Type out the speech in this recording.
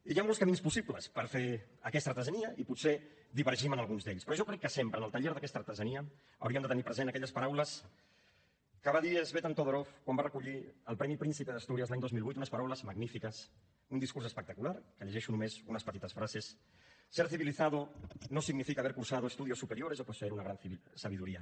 i hi ha molts camins possibles per fer aquesta artesania i potser divergim en alguns d’ells però jo crec que sempre en el taller d’aquesta artesania hauríem de tenir present aquelles paraules que va dir tzvetan todorov quan va recollir el premi príncipe de asturias l’any dos mil vuit unes paraules magnífiques un discurs espectacular que en llegeixo només unes petites frases ser civilizado no significa haber cursado estudios superiores o poseer una gran sabiduría